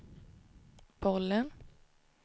bollen